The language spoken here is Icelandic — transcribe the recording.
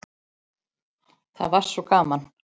Það var svo gaman.